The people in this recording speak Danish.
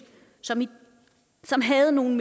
som havde nogle